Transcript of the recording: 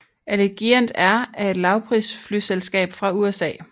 Allegiant Air er et lavprisflyselskab fra USA